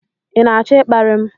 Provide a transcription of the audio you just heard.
ị na-achọ ịkparị m?